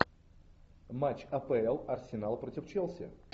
матч апл арсенал против челси